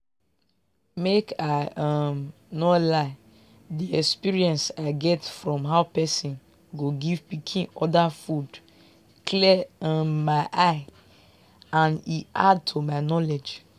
make i um no lie the experience i get from how person go give pikin other food clear my um eye and e add to my knowledge.